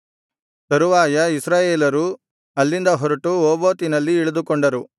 ತರುವಾಯ ಇಸ್ರಾಯೇಲರು ಅಲ್ಲಿಂದ ಹೊರಟು ಓಬೋತಿನಲ್ಲಿ ಇಳಿದುಕೊಂಡರು